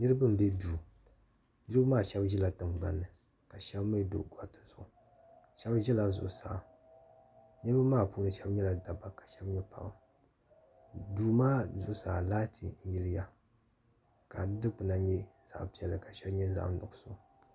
Niribi mbɛ duu niribi shɛb ʒila tiŋgbani ka shɛb mii do gariti zuɣu shɛb ʒila zuɣu saa niribi puuni shɛb nyɛla dabba ka shɛb nyɛ paɣba duu maa zuɣu saa laati yiliya kari duu kpuna nyɛ zaɣi piɛla ka shɛli nyɛ zaɣi nuɣiso.